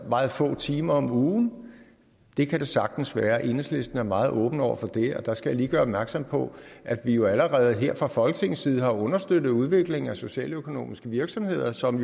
meget få timer om ugen det kan det sagtens være enhedslisten er meget åben over for det og der skal jeg lige gøre opmærksom på at vi jo allerede her fra folketingets side har understøttet udviklingen af socialøkonomiske virksomheder som